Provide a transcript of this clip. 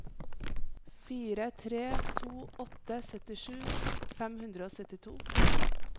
fire tre to åtte syttisju fem hundre og syttito